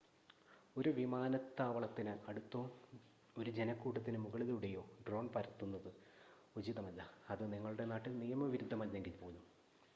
ഒരു വിമാനത്താവളത്തിന് അടുത്തോ ഒരു ജനക്കൂട്ടത്തിന് മുകളിലൂടെയോ ഡ്രോൺ പറത്തുന്നത് ഉചിതമല്ല അത് നിങ്ങളുടെ നാട്ടിൽ നിയമവിരുദ്ധമല്ലെങ്കിൽ പോലും